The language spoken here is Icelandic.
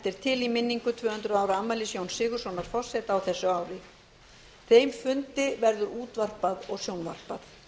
er til í minningu tvö hundruð ára afmælis jóns sigurðssonar forseta á þessu ári þeim fundi verður útvarpað og sjónvarpað